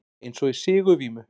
Eins og í sigurvímu.